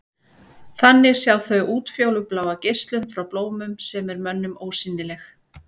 Þannig sjá þau útfjólubláa geislun frá blómum sem er mönnum ósýnileg.